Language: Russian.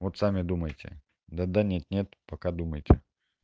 вот сами думайте да-да нет-нет пока думайте